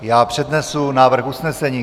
Já přednesu návrh usnesení.